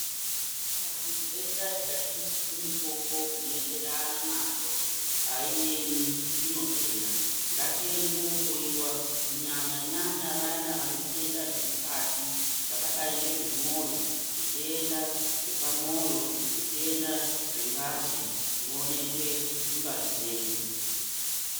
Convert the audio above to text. Kana ntenda ikashandisirwa mutombo unoenderana nayo haiemi inopera. Ngatiende kohloiwa kunyanya-nyanya vayana vane zvitenda zvemukati zvakadai ngezvemwoyo. Zvitenda zvepamwoyo zvitenda zvengazi zvinonekwe mungazi dzedu.